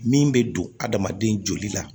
Min bɛ don adamaden joli la